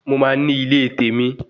Mo máa ní ilé tèmi